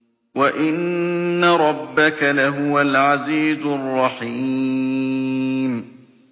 وَإِنَّ رَبَّكَ لَهُوَ الْعَزِيزُ الرَّحِيمُ